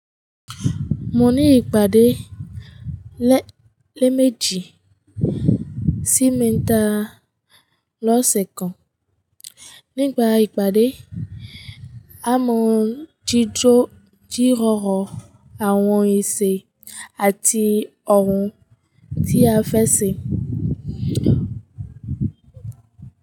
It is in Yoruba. Mo ní ìpàdé lẹ́ lét méjì sí mẹ́ta lọ́sẹ̀ kan. Nígbà ìpàdé, a máa ń jíjọ jírọ̀rọ̀ àwọn èsè àti ohun tí a fẹ́ ṣe.